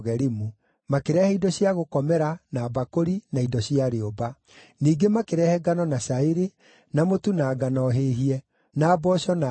makĩrehe indo cia gũkomera, na mbakũri, na indo cia rĩũmba. Ningĩ makĩrehe ngano na cairi, na mũtu na ngano hĩhie, na mboco na ndengũ,